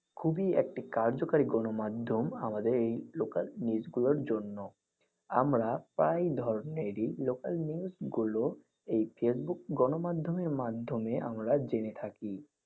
খুবই একটি কার্যকারি গণ মাধ্যম আমাদের এই local news গুলোর জন্য। আমরা প্রায় ধরণের এই local news গুলো এই face book গণ মাধমের মাধ্যমে জেনে থাকি।